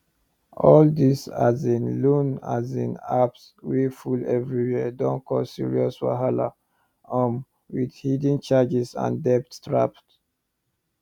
all these asin loan asin apps wey full everywhere don cause serious wahala um with hidden charges and debt traps